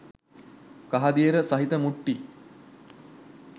කහදියර සහිත මුට්ටි